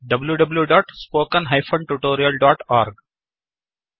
spoken tutorialಒರ್ಗ್